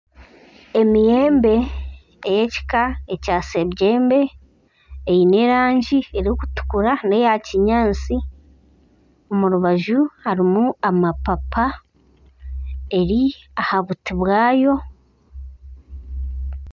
Emiyembe ey'ekika kya' sebyembe eine erangi erikutukura n'eya kinyaatsi omurubaju harimu amapapa eri aha buti bwayo.